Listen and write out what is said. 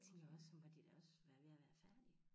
Tænkte jeg også så må de da også være ved at være færdige